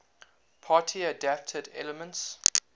party adapted elements